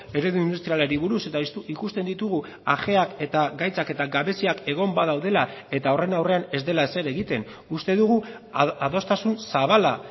eredu industrialari buruz eta ikusten ditugu ajeak eta gaitzak eta gabeziak egon badaudela eta horren aurrean ez dela ezer egiten uste dugu adostasun zabala